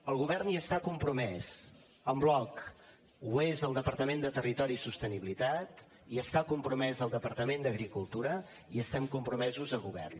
el govern hi està compromès en bloc hi és el departament de territori i sostenibilitat hi està compromès el departament d’agricultura i hi estem compromesos el govern